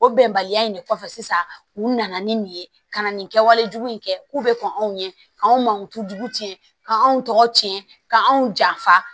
O bɛnbaliya in de kɔfɛ sisan u nana ni nin ye ka na nin kɛwale jugu in kɛ k'u bɛ kɔn anw ɲɛ k'an mankutujugu tiɲɛ ka anw tɔgɔ tiɲɛ ka anw janfa